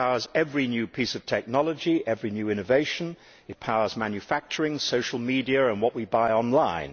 It powers every new piece of technology, every innovation. It powers manufacturing, social media and what we buy online.